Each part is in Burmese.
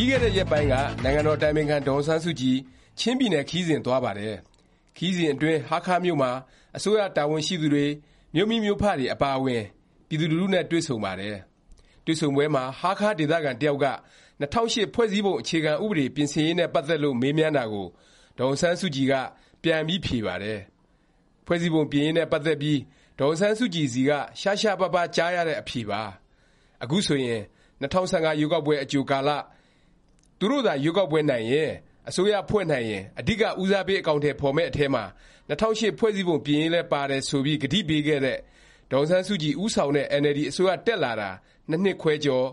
ပြီးခဲ့တဲ့ ရက်ပိုင်းက နိုင်ငံတော် အတိုင်ပင်ခံ ဒေါ်အောင်ဆန်းစုကြည် ချင်းပြည်နယ် ခရီးစဉ် သွားပါတယ်။ ခရီးစဉ်အတွင်း ဟားခါးမြို့မှာ အစိုးရ တာဝန်ရှိသူတွေ၊ မြို့မိမြို့ဖတွေ အပါအဝင် ပြည်သူလူထုတွေနဲ့ တွေ့ဆုံပါတယ်။ တွေ့ဆုံပွဲမှာ ဟားခါး ဒေသခံ တစ်ယောက်က ၂၀၀၈ ဖွဲ့စည်းပုံ အခြေခံ ပြင်ဆင်ရေးနဲ့ ပတ်သက်လို့ မေးမြန်းတာကို ဒေါ်အောင်ဆန်းစုကြည်က ပြန်ပြီး ဖြေပါတယ်။ ဖွဲ့စည်းပုံ ပြင်ရေးနဲ့ ပတ်သက်ပြီး ဒေါ်အောင်ဆန်းစုကြည် ဆီက ရှားရှားပါးပါး ကြားရတဲ့ အဖြေပါ။ အခုဆိုရင် ၂၀၁၅ ရွေးကောက်ပွဲအကြိုကာလ သူတို့သာ ရွေးကောက်ပွဲနိုင်၊ အစိုးရ ဖွဲ့နိုင်ရင် အဓိက ဦးစားပေး အကောင်အထည် ဖော်မယ့် အထဲမှာ ၂၀၀၈ ဖွဲ့စည်းပုံ ပြင်ရေးလည်း ပါတယ် ဆိုပြီး ကတိပေးခဲ့တဲ့ ဒေါ်အောင်ဆန်းစုကြည် ဦးဆောင်တဲ့ အင်န်အယ်လ်ဒီ အစိုးရ တက်လာတာ ၂ နှစ်ခွဲကျော်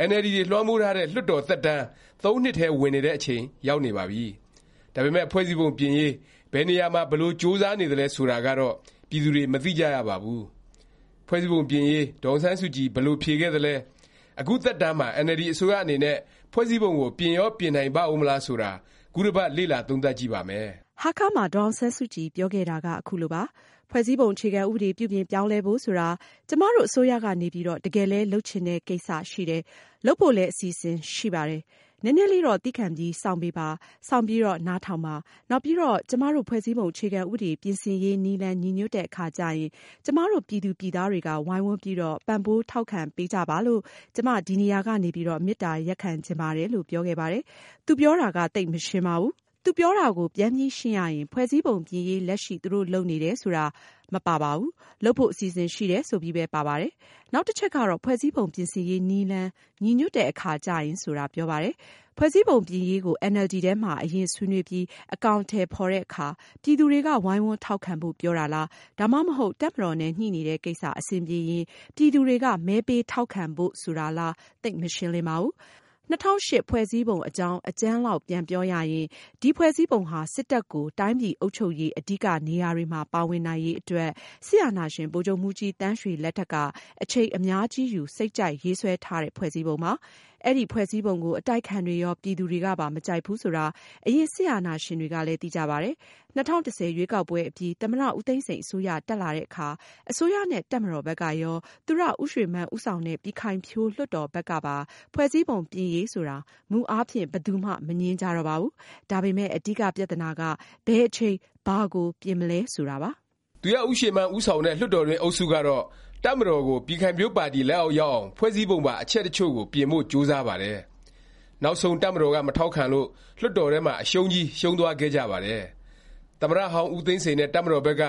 ၊ အင်န်အယ်လ်ဒီတွေ လွှမ်းမိုးထားတဲ့ လွှတ်တော် သက်တန်း ၃ နှစ်ထဲ ဝင်နေတဲ့ အချိန်ရောက်နေပါပြီ။ ဒါပေမယ့် ဖွဲ့စည်းပုံပြင်ရေး ဘယ်နေရာမှာ ဘယ်လို ကြိုးစားနေသလဲ ဆိုတာကတော့ ပြည်သူတွေ မသိကြရပါဘူး။ ဖွဲ့စည်းပုံပြင်ရေး ဒေါ်အောင်ဆန်းစုကြည် ဘယ်လို ဖြေခဲ့သလဲ၊ အခု သက်တန်းမှာ အင်န်အယ်လ်ဒီ အစိုးရ အနေနဲ့ ဖွဲ့စည်းပုံကို ပြင်ရော ပြင်နိုင်ပါဦးမလား ဆိုတာ ခုတစ်ပတ် လေ့လာသုံးသပ်ကြည့်ပါမယ်။ ဟားခါးမှာ ဒေါ်အောင်ဆန်းစုကြည် ပြောခဲ့တာက ခုလိုပါ။ “ ဖွဲ့စည်းပုံ အခြေခံ ဥပဒေ ပြုပြင်ပြောင်းလဲဖို့ ဆိုတာ ကျမတို့ အစိုးရကနေပြီးတော့ တကယ်လည်း လုပ်ချင်တဲ့ ကိစ္စရှိတယ်။ လုပ်ဖို့လည်း အစီအစဉ်တွေ ရှိပါတယ်။ နည်းနည်းလေးတော့ သည်းခံပြီး စောင့်ပေးပါ။ စောင့်ပြီးတော့ နားထောင်ပါ။ နောက်ပြီးတော့ ကျမတို့ ဖွဲ့စည်းပုံ အခြေခံ ဥပဒေ ပြင်ဆင်ရေးနည်းလမ်း ညီညွတ်တဲ့အခါကျရင် ကျမတို့ ပြည်သူပြည်သားတွေက ဝိုင်းဝန်းပြီးတော့ ပံ့ပိုး ထောက်ခံပေးကြပါလို့ ကျမ ဒီနေရာက နေပြီးတော့ မေတ္တာရပ်ခံချင်ပါတယ်။” လို့ ပြောခဲ့ပါတယ်။ သူပြောတာ သိပ်မရှင်းပါဘူး။ သူပြောတာကို ပြန်ပြီးရှင်းရရင် ဖွဲ့စည်းပုံပြင်ရေး လက်ရှိ သူတို့ လုပ်နေတယ် ဆိုတာ မပါပါဘူး။ လုပ်ဖို့ အစီအစဉ် ရှိတယ် ဆိုပြီးပဲ ပါပါတယ်။ နောက်တချက်ကတော့ “ ဖွဲ့စည်းပုံ ပြင်ဆင်ရေး နည်းလမ်း ညီညွတ်တဲ့အခါ ကျရင်” ဆိုတာ ပြောပါတယ်။ ဖွဲ့စည်းပုံ ပြင်ရေးကို အင်န်အယ်လ်ဒီ ထဲမှာ အရင် ဆွေးနွေးပြီး အကောင်အထည် ဖော်တဲ့အခါ ပြည်သူတွေက ဝိုင်းဝန်း ထောက်ခံဖို့ ပြောတာလား၊ ဒါမှမဟုတ် တပ်မတော်နဲ့ ညှိနေတဲ့ကိစ္စ အဆင်ပြေရင် ပြည်သူတွေက မဲပေး ထောက်ခံပေးဖို့ ဆိုလိုတာလား သိပ်မရှင်းလင်းပါဘူး။ ၂၀၀၈ ဖွဲ့စည်းပုံ အကြောင်း အကြမ်းလောက် ပြန်ပြောရရင် ဒီဖွဲစည်းပုံဟာ စစ်တပ်ကို တိုင်းပြည် အုပ်ချုပ်ရေးအဓိကနေရာတွေမှာပါဝင်နိုင်ရေးအတွက် စစ်အာဏာရှင် ဗိုလ်ချုပ်မှူးကြီး သန်းရွှေလက်ထက်က အချိန် အများကြီးယူ စိတ်ကြိုက်ရေးဆွဲထားတဲ့ ဖွဲ့စည်းပုံပါ။ အဲဒီ ဖွဲ့စည်းပုံကို အတိုက်အခံတွေရော ပြည်သူတွေကပါ မကြိုက်ဘူး ဆိုတာ အရင် စစ်အာဏာရှင်တွေကလည်း သိကြပါတယ်။ ၂၀၁၀ ရွေးကောက်ပွဲ အပြီး သမ္မတ ဦးသိန်းစိန် အစိုးရ တက်လာတဲ့အခါ အစိုးရနဲ့ တပ်မတော်ဘက်ကရော၊ သူရဦးရွှေမန်း ဦးဆောင်တဲ့ ပြည်ခိုင်ဖြိုး လွှတ်တော်ဘက်ကပါ ဖွဲ့စည်းပုံ ပြင်ရေး ဆိုတာ မူအားဖြင့် ဘယ်သူမှ မငြင်းကြတော့ပါဘူး။ ဒါပေမယ့် အဓိက ပြသနာက ဘယ်အချိန် ဘာကို ပြင်မလဲ ဆိုတာပါ။ သူရဦးရွှေမန်း ဦးဆောင်တဲ့ လွှတ်တော်တွင်း အုပ်စုကတော့ တပ်မတော်ကို ပြည်ခိုင်ဖြိုးပါတီ လက်အောက် ရောက်အောင် ဖွဲ့စည်းပုံပါ အချက်တစ်ချို့ကို ပြင်ဖို့ ကြိုးစားပါတယ်။ နောက်ဆုံး တပ်မတော်က မထောက်ခံလို့ လွှတ်တော်ထဲမှာ အရှုံးကြီးရှုံးသွားခဲ့ကြပါတယ်။ သမ္မတဟောင်း ဦးသိန်းစိန်နဲ့ တပ်မတော်ဘက်က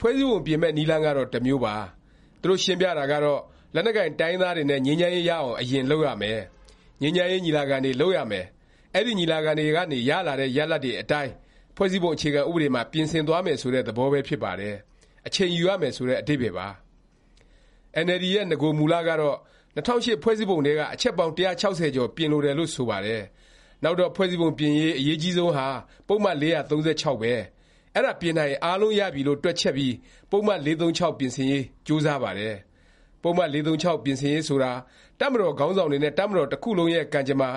ဖွဲ့စည်းပုံ ပြင်မယ့် နည်းလမ်းကတော့ တစ်မျိုးပါ။ သူတို့ရှင်းပြတာကတော့ လက်နက်ကိုင် တိုင်းရင်းသားတွေနဲ့ ငြိမ်းချမ်းရေးရအောင် အရင် လုပ်ရမယ်၊ ငြိမ်းချမ်းရေး ညီလာခံတွေ လုပ်ရမယ်၊ အဲဒီ ညီလာခံတွေကနေ ရလာတဲ့ ရလာဒ်တွေအတိုင်း ဖွဲ့စည်းပုံ အခြေခံ ဥပဒေမှာ ပြင်ဆင်သွားမယ် ဆိုတဲ့ သဘောပဲ ဖြစ်ပါတယ်။ အချိန်ယူရမယ် ဆိုတဲ့ အဓိပ္ပါယ်ပါ။ အင်န်အယ်လ်ဒီရဲ့ နဂိုမူကတော့ ၂၀၀၈ ဖွဲ့စည်းပုံထဲက အချက်ပေါင်း ၁၆၀ ကျော် ပြင်လိုတယ်လို့ ဆိုပါတယ်။ နောက်တော့ ဖွဲ့စည်းပုံပြင်ရေး အရေးအကြီးဆုံးဟာ ပုဒ်မ ၄၃၆ ပဲ။ အဲဒါ ပြင်နိုင်ရင် အားလုံးရပြီလို့ တွက်ချက်ပြီး ပုဒ်မ ၄၃၆ ပြင်ဆင်ရေး ကြိုးစားပါတယ်။ ပုဒ်မ ၄၃၆ ပြင်ဆင်ရေး ဆိုတာဟာ တပ်မတော်ခေါင်းဆောင်တွေနဲ့ တပ်မတော် တစ်ခုလုံးရဲ့ ကံကြမ္မာ၊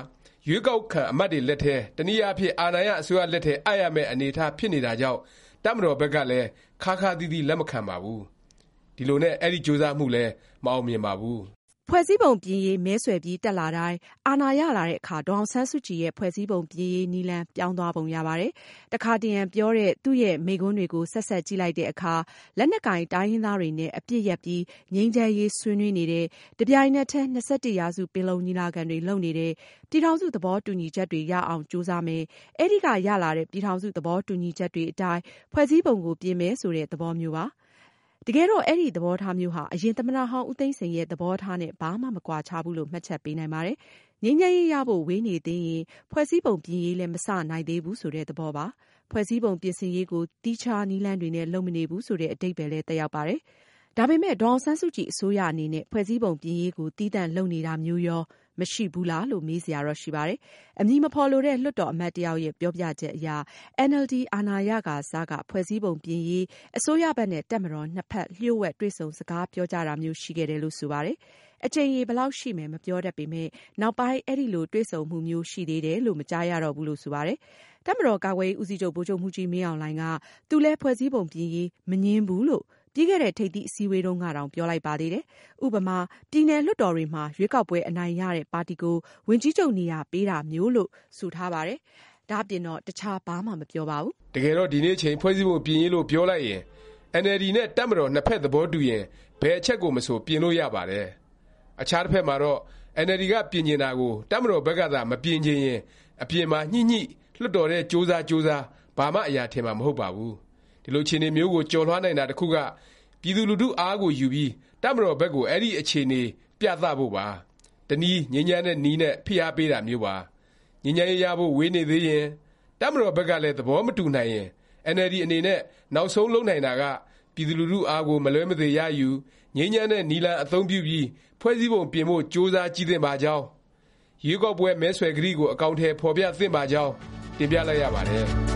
ရွေးကောက်ခံ အမတ်တွေလက်ထဲ၊ တစ်နည်းအားဖြင့် အာဏာရ အစိုးရလက်ထဲ အပ်ရမယ့် အနေအထား ဖြစ်နေတာကြောင့် တပ်မတော်ဘက်ကလည်း ခါးခါးသီးသီး လက်မခံပါဘူး။ ဒီလိုနဲ့ အဲဒီ ကြိုးစားမှုလည်း မအောင်မြင်ပါဘူး။ ဖွဲ့စည်းပုံပြင်ရေး မဲဆွယ်ပြီး တက်လာတဲ့တိုင်၊ အာဏာရလာတဲ့အခါ ဒေါ်အောင်ဆန်းစုကြည်ရဲ့ ဖွဲ့စည်းပုံ ပြင်ရေး နည်းလမ်း ပြောင်းသွားပုံရပါတယ်။ တခါတရံပြောတဲ့ သူ့ရဲ့ မိန့်ခွန်းတွေကို ဆက်စပ်ကြည့်လိုက်တဲ့အခါ လက်နက်ကိုင် တိုင်းရင်းသားတွေနဲ့ အပစ်ရပ်ပြီး ငြိမ်းချမ်းရေး ဆွေးနွေးနေတယ်၊ တစ်ပြိုင်နက်တည်း ၂၁ ရာစု ပင်လုံညီလာခံတွေ လုပ်နေတယ်၊ ပြည်ထောင်စု သဘောတူညီချက်တွေ ရအောင် ကြိုးစားမယ်၊ အဲဒီက ရလာတဲ့ ပြည်ထောင်စု သဘောတူညီချက်တွေအတိုင်း ဖွဲ့စည်းပုံကို ပြင်မယ် ဆိုတဲ့ သဘောမျိုးပါ။ တကယ်တော့ အဲဒီ သဘောထားမျိုးဟာ အရင် သမ္မတဟောင်း ဦးသိန်းစိန်ရဲ့ သဘောထားနဲ့ ဘာမှ မကွာခြားဘူးလို့ မှတ်ချက်ပေးနိုင်ပါတယ်။ ငြိမ်းချမ်းရေးရဖို့ ဝေးနေသေးရင် ဖွဲ့စည်းပုံပြင်ရေးလည်း မစနိုင်သေးဘူး ဆိုတဲ့ သဘောပါ။ ဖွဲ့စည်းပုံ ပြင်ဆင်ရေးကို သီးခြား နည်းလမ်းတွေနဲ့ လုပ်မနေဘူး ဆိုတဲ့ အဓိပ္ပါယ်လည်း သက်ရောက်ပါတယ်။ ဒါပေမယ့် ဒေါ်အောင်ဆန်းစုကြည် အစိုးရ အနေနဲ့ ဖွဲ့စည်းပုံ ပြင်ရေးကို သီးသန့် လုပ်နေတာမျိုးရော မရှိဘူးလားလို့ မေးစရာတော့ ရှိပါတယ်။ အမည်မဖော်လိုတဲ့ လွှတ်တော်အမတ် တစ်ယောက်ရဲ့ ပြောပြချက်အရ အင်န်အယ်လ်ဒီ အာဏာရကာစက ဖွဲ့စည်းပုံပြင်ရေး အစိုးရဘက်နဲ့ တပ်မတော်ဘက် နှစ်ဖက် လျှို့ဝှက် တွေ့ဆုံ စကားပြောကြတာမျိုး ရှိခဲ့တယ်လို့ ဆိုပါတယ်။ အကြိမ်ရေ ဘယ်လောက်ရှိမယ် မပြောတတ်ပေမယ့် နောက်ပိုင်း အဲလို တွေ့ဆုံမှုမျိုး ရှိသေးတယ်လို့ မကြားရတော့ဘူးလို့ ဆိုပါတယ်။ တပ်မတော်ကာကွယ်ရေး ဦးစီးချုပ် ဗိုလ်ချုပ်မှူးကြီး မင်းအောင်လှိုင်က သူလည်း ဖွဲ့စည်းပုံ ပြင်ရေး မငြင်းဘူးလို့ ပြီးခဲ့တဲ့ ထိပ်သီး အစည်းအဝေးတုန်းကတောင် ပြောလိုက်ပါသေးတယ်။ ဥပမာ ပြည်နယ်လွှတ်တော်တွေမှာ ရွေးကောက်ပွဲအနိုင်ရတဲ့ ပါတီကို ဝန်ကြီးချုပ်နေရာ ပေးတာမျိုးလို့ ဆိုထားပါတယ်။ ဒါ့အပြင်တော့ တခြား ဘာမှ မပြောပါဘူး။ တကယ်တော့ ဒီနေ့အချိန် ဖွဲ့စည်းပုံ ပြင်ရေးလို့ ပြောလိုက်ရင် အင်န်အယ်လ်ဒီ နဲ့ တပ်မတော် နှစ်ဖက် သဘောတူရင် ဘယ်အချက်ကိုမဆို ပြင်လို့ ရပါတယ်။ အခြားတစ်ဖက်မှာတော့ အင်န်အယ်လ်ဒီ က ပြင်ချင်တာကို တပ်မတော်ဘက်ကသာ မပြင်ချင်ရင် အပြင်မှာညှိညှိ၊ လွှတ်တော်ထဲ ကြိုးစားကြိုးစား ဘာမှ အရာထင်မှာ မဟုတ်ပါဘူး။ ဒီလို အခြေအနေမျိုးကို ကျော်လွှားနိုင်တာ တစ်ခုက ပြည်သူလူထု အားကိုယူပြီး တပ်မတော်ဘက်ကို အဲဒီ အခြေအနေ ပြသ ဖို့ပါ။ တစ်နည်း ငြိမ်းချမ်းတဲ့နည်းလမ်းနဲ့ ဖိအားပေးတာမျိုးပါ။ ငြိမ်းချမ်းရေးရဖို့ ဝေးနေသေးရင်၊ တပ်မတော်ဘက်ကလည်း သဘောမတူနိုင်ရင် အင်န်အယ်လ်ဒီ အနေနဲ့ နောက်ဆုံး လုပ်နိုင်တာက ပြည်သူလူထု အားကို မလွဲမသွေ ရယူ၊ ငြိမ်းချမ်းတဲ့ နည်းလမ်းအသုံးပြုပြီး ဖွဲ့စည်းပုံ ပြင်ဖို့ ကြိုးစားကြည့်သင့်ပါကြောင်း၊ ရွေးကောက်ပွဲ မဲဆွယ်ကတိကို အကောင်အထည် ဖော်ပြသင့်ပါကြောင်း တင်ပြလိုက်ရပါတယ်